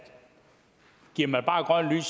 giver man bare grønt